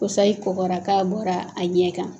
Ko sayi kɔkɔra k'a bɔra a ɲɛ kan